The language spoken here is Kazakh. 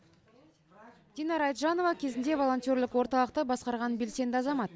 динара айтжанова кезінде волонтерлік орталықты басқарған белсенді азамат